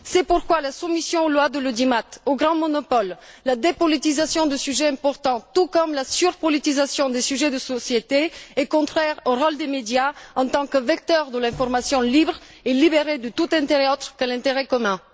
C'est pourquoi la soumission aux lois de l'audimat, aux grands monopoles, la dépolitisation de sujets importants tout comme la surpolitisation des sujets de société sont contraires au rôle des médias en tant que vecteurs de l'information libre et libérée de tout intérêt autre que l'intérêt commun.